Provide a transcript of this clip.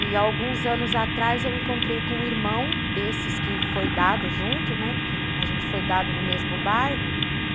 E alguns anos atrás eu encontrei com um irmão desses que foi dado junto, né, porque a gente foi dado no mesmo bairro.